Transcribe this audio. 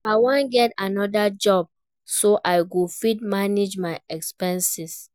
I wan get another job so I go fit manage my expenses